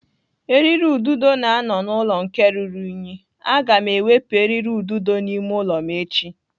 Eriri ududo na-anọ n'ụlọ nke ruru unyi. Aga m ewepụ eriri ududo n'ime ụlọ m echi.